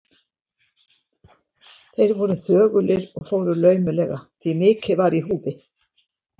Þeir voru þögulir og fóru laumulega, því mikið var í húfi.